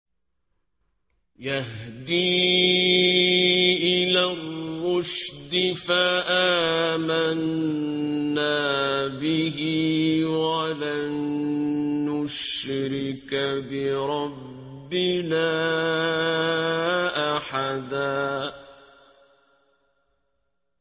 يَهْدِي إِلَى الرُّشْدِ فَآمَنَّا بِهِ ۖ وَلَن نُّشْرِكَ بِرَبِّنَا أَحَدًا